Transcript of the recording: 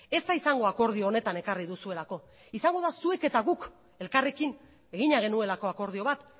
ez da izango akordio honetan ekarri duzuelako izango da zuek eta guk elkarrekin egina genuelako akordio bat